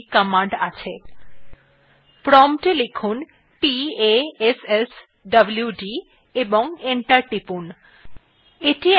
এই জন্য passwd command আছে prompt we লিখুন